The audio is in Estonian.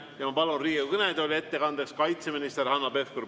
Ja ma palun Riigikogu kõnetooli ettekandeks kaitseminister Hanno Pevkuri.